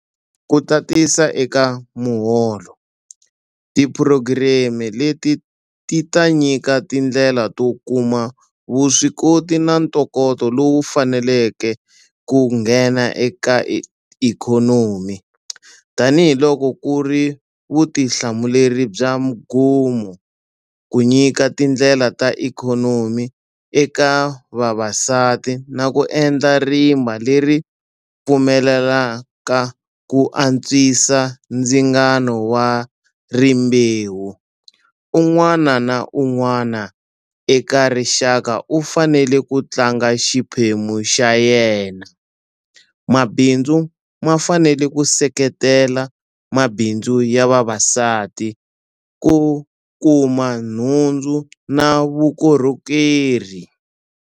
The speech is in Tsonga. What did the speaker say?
Ku tatisa eka muholo, tiphurogireme leti ti ta nyika tindlela to kuma vuswikoti na ntokoto lowu faneleke ku nghena eka ikhonomi. Tanihi loko ku ri vutihlamuleri bya mgumo ku nyika tindlela ta ikhonomi eka vavasati na ku endla rimba leri pfumelelaka ku antswisa ndzingano wa rimbewu, un'wana na un'wana eka rixaka u fanele ku tlanga xiphemu xa yena. Mabindzu ma fanele ku seketela mabindzu ya vavasati ku kuma nhundzu na vukorhokeri.